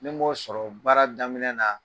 Ne m'o sɔrɔ baara daminɛ na